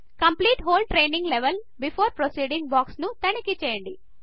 complete whole training level before proceeding box ను తనిఖీ చేయండి